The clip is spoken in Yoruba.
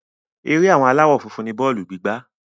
Ere àwọn aláwọ́ funfun ni bọ́ọ̀lù gígbá.